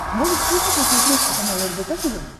можешь включить на смотрешке канал рбк тв